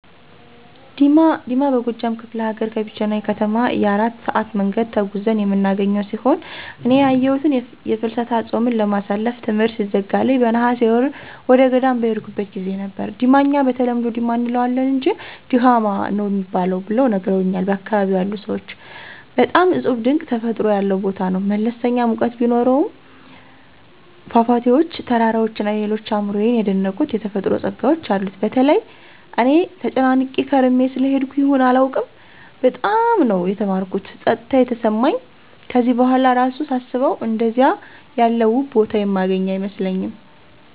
ዲማ፦ ዲማ በጎጃም ከፍለ ሀገር ከቢቸና ከተማ የ4 ሰአት መንገድ ተጉዘን የምናገኘው ሲሆን እኔ ያየሁት የፍልሰታ ጾምን ለማሳለፍ ትምሕርት ሲዘጋልኝ በነሐሴ ወር ወደገዳም በሄድኩበት ጊዜ ነበር፤ ዲማ እኛ በተለምዶ "ዲማ “ አንለዋለን አንጅ “ድማኅ“ ነው ሚባል ብለው ነግረውኛል ያካባቢው ሰዎች። በጣም እጹብ ድንቅ ተፈጥሮ ያለው ቦታ ነው። መለስተኛ ሙቀት ቢኖሰውም ፏፏቴዎች፣ ተራራዎች እና ሌሎች አእምሮየን የደነቁት የተፈጥሮ ጸጋዎች አሉት። በተለይ እኔ ተጨናንቄ ከርሜ ስለሄድኩ ይሁን አላውቅም በጣም ነው የተማረኩት ጸጥታ የተሰማኝ ከዚህ በኋላ እራሱ ሳስበው አንደዚያ ያለ ውብ ቦታ የማገኝ አይመስለኝም።